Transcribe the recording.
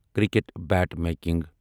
cricket bat making